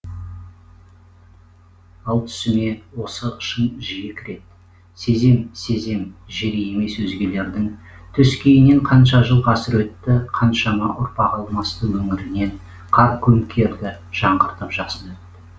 ал түсіме осы шың жиі кіред сезем сезем жері емес өзгелердің төскейінен қанша жыл ғасыр өтті қаншама ұрпақ алмасты өңіріңнен қар көмкерді жаңғыртып жасын